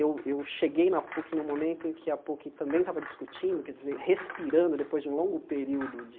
Eu eu cheguei na Puc no momento em que a Puc também estava discutindo, quer dizer respirando, depois de um longo período de